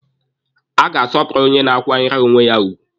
A ga-asọpụrụ onye na-akwanyere onwe ya ugwu.